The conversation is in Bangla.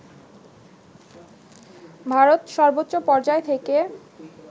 ভারত সর্বোচ্চ পর্যায় থেকে